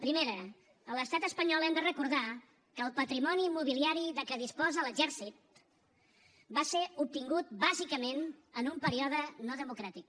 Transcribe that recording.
primer a l’estat espanyol hem de recordar que el patrimoni immobiliari de què disposa l’exèrcit va ser obtingut bàsicament en un període no democràtic